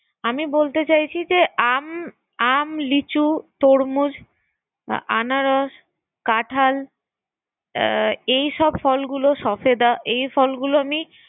আমি বলতে চাইছি যে আম-আম, লিচু, তরমুজ, আনারস, কাঠাল এই সব ফলগুলো সফেদা এই ফলগুলো আমি